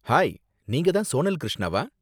Hi, நீங்க தான் சோனல் கிருஷ்ணாவா?